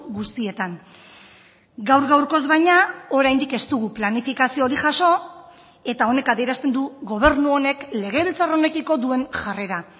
guztietan gaur gaurkoz baina oraindik ez dugu planifikazio hori jaso eta honek adierazten du gobernu honek legebiltzar honekiko duen jarrera